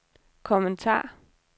kommentar